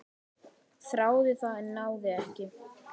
Þráði það, en náði ekki.